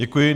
Děkuji.